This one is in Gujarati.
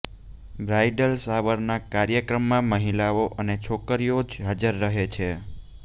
બ્રાઇડલ શાવરના કાર્યક્રમમાં મહિલાઓ અને છોકરીઓ જ હાજર રહે છે